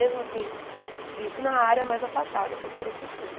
Mesmo assim isso na área mais afastada, contando com tudo.